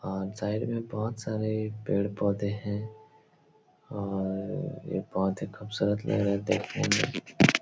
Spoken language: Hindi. अ साईड में बोहत सारे पेड़-पोधे हैं और ऐ बोहत ही खूबसूरत लग रहे हे देखने में।